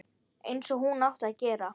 Einsog hún átti að gera.